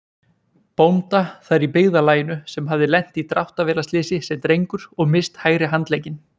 bónda þar í byggðarlaginu sem hafði lent í dráttarvélarslysi sem drengur og misst hægri handlegginn.